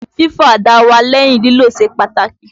Fífọ àdá wa lẹ́yìn lílò ṣe pàtàkì.